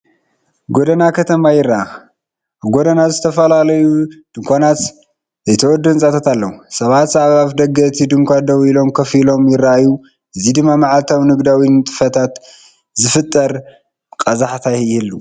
ጎደና ከተማ ይርአ። ኣብ ጎድኑ ድማ ዝተፈላለዩ ድኳናትን ዘይተወድኡ ህንጻታትን ኣለዉ። ሰባት ኣብ ኣፍደገ እቲ ድኳን ደው ኢሎምን ኮፍ ኢሎምን ይረኣዩ፣ እዚ ድማ መዓልታዊ ንግዳዊ ንጥፈታት ዝፈጥር ቀዛሕታ ይህብ።